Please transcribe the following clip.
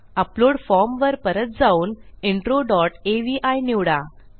upload form वर परत जाऊन इंट्रो डॉट अवी निवडा